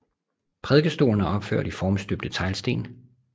Prædikestolen er opført i formstøbte teglsten